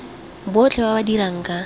botlhe ba ba dirang ka